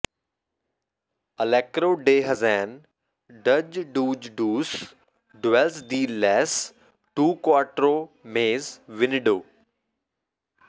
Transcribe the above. ਅਲੇਕਰੋ ਡੇ ਹਜੇਨ ਡਜ ਡੂਜ ਡੂਸ ਡੂਐਲਸ ਡਿ ਲੇਸ ਟੂ ਕੁਆਟਰੋ ਮੇਜ ਵਿਨਿਡੋ